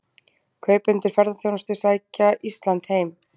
Kaupendur ferðaþjónustu sækja Ísland heim